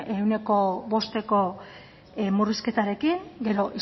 ehuneko bosteko murrizketarekin gero